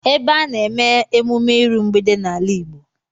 Ebe a na-eme emume iru mgbede n'ala Igbo